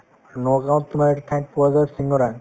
নগাঁৱত তোমাৰ এটা ঠাইত পোৱা যায় শিঙৰা